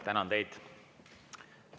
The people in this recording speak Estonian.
Tänan teid!